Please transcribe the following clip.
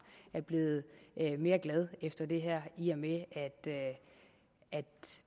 er blevet mere glad efter det her i og med at